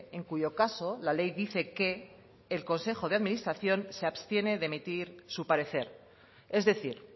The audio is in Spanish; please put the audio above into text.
en cuyo caso la ley dice que el consejo de administración se abstiene de emitir su parecer es decir